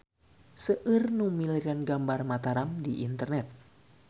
Seueur nu milarian gambar Mataram di internet